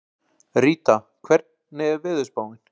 Ríta, hvernig er veðurspáin?